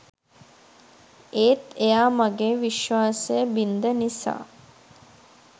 ඒත් එයා මගේ විශ්වාසය බින්ද නිසා